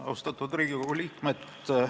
Austatud Riigikogu liikmed!